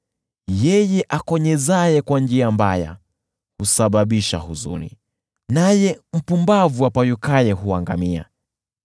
Yeye akonyezaye kwa nia mbaya husababisha huzuni, naye mpumbavu apayukaye huangamia.